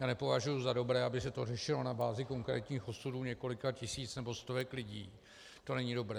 Já nepovažuji za dobré, aby se to řešilo na bázi konkrétních osudů několika tisíc nebo stovek lidí, to není dobré.